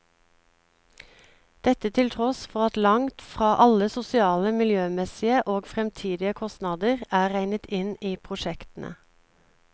Dette til tross for at langt fra alle sosiale, miljømessige og fremtidige kostnader er regnet inn i prosjektene.